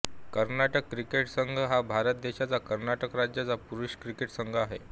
Karnataka cricket संघ हा भारत देशाच्या कर्नाटक राज्याचा पुरुष क्रिकेट संघ आहे